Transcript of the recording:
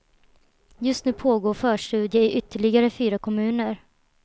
Just nu pågår förstudier i ytterligare fyra kommuner.